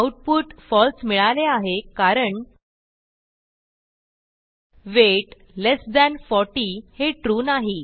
output फळसे मिळाले आहे कारण वेट लेस थान 40 हे ट्रू नाही